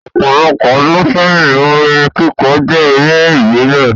Opolopo odun seyin, orin kikọ je ere ibile